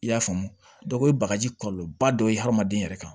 I y'a faamu o ye bagaji kɔlɔlɔba dɔ ye hadamaden yɛrɛ kan